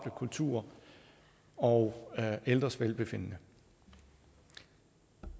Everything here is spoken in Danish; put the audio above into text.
kultur og ældres velbefindende